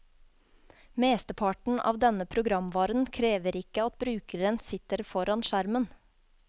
Mesteparten av denne programvaren krever ikke at brukeren sitter foran skjermen.